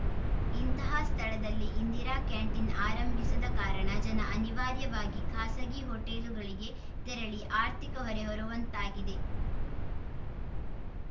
ಇಂತಹ ಸ್ಥಳದಲ್ಲಿ ಇಂದಿರಾ ಕ್ಯಾಂಟೀನ್‌ ಆರಂಭಿಸದ ಕಾರಣ ಜನ ಅನಿವಾರ್ಯವಾಗಿ ಖಾಸಗಿ ಹೋಟೆಲುಗಳಿಗೆ ತೆರಳಿ ಆರ್ಥಿಕ ಹೊರೆ ಹೊರುವಂತಾಗಿದೆ